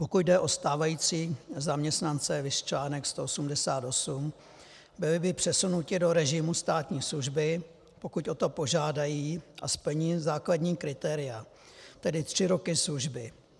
Pokud jde o stávající zaměstnance, viz článek 188, byly by přesunuti do režimu státní služby, pokud o to požádají a splní základní kritéria, tedy tři roky služby.